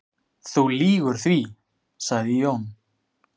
"""Þú lýgur því, sagði Jón."""